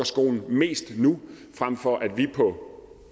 mest nu frem for at vi på